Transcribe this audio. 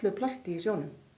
plasti í sjónum